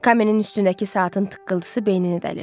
Kaminin üstündəki saatın tıqqıltısı beynini dəlirdi.